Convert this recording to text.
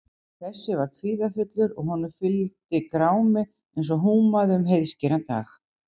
Þessi var kvíðafullur og honum fylgdi grámi eins og húmaði um heiðskíran dag.